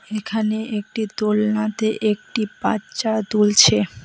এখানে একটি দোলনাতে একটি বাচ্চা দুলছে।